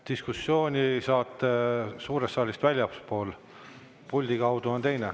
Diskussiooni saate suurest saalist väljaspool, puldi kaudu on teine.